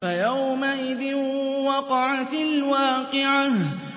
فَيَوْمَئِذٍ وَقَعَتِ الْوَاقِعَةُ